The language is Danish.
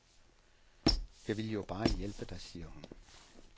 Jeg vil jo bare hjælpe dig, siger hun.